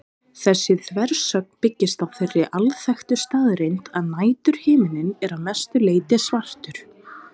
Þessi þversögn byggist á þeirri alþekktu staðreynd að næturhiminninn er að mestu leyti svartur.